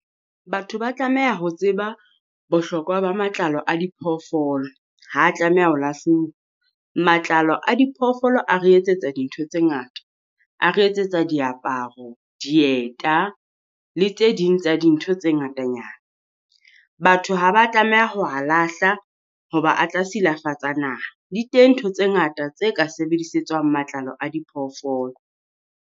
Batho ba tlameha ho tseba bohlokwa ba matlalo a diphoofolo. Ha tlameha ho lahluwa, matlalo a diphoofolo a re etsetsa dintho tse ngata, a re etsetsa diaparo, dieta le tse ding tsa dintho tse ngatanyana. Batho ha ba tlameha ho ha lahla hoba a tla silafatsa naha. Di teng ntho tse ngata tse ka sebedisetswang matlalo a diphoofolo.